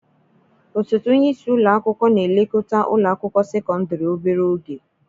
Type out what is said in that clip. Osote onye isi ụlọ akwụkwọ na-elekọta ụlọ akwụkwọ sekọndrị obere oge.